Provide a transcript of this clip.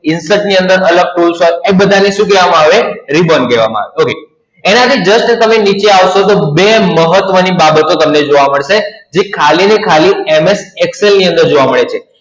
Insert ની અંદર અલગ tools હોય એ બધા ને શું કહેવામા આવે? Ribbon કહેવામા આવે, Okay એનાથી just તમે નીચે આવશો તો બે મહત્વની બાબતો તમને જોવા મળશે, જે ખાલી અને ખાલી MS Excel ની અંદર જોવા મળે છે.